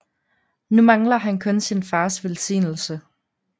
Nu mangler han kun sin fars velsignelse